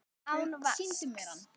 Án vasks.